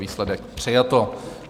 Výsledek: přijato.